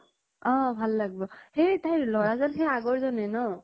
অ ভাল লাগ্-ব। সেই তাইৰ লʼৰা জন সেই আগৰ জনে ন?